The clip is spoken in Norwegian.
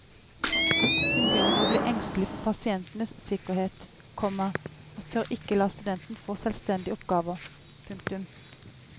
Hun begynner å bli engstelig for pasientenes sikkerhet, komma og tør ikke la studenten få selvstendige oppgaver. punktum